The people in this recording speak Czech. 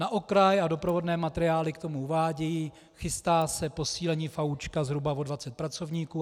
Na okraj, a doprovodné materiály k tomu uvádějí - chystá se posílení FAÚ zhruba o 20 pracovníků.